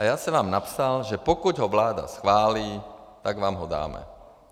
A já jsem vám napsal, že pokud ho vláda schválí, tak vám ho dám.